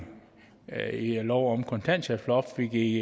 lov om kontanthjælpsloftet vi i